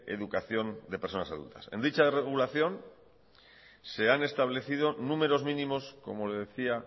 educación de personas adultas en dicha regulación se han establecido números mínimos como le decía